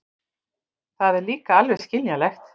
Það er líka alveg skiljanlegt.